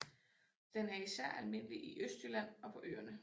Den er især almindelig i Østjylland og på Øerne